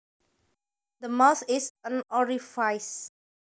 The mouth is an orifice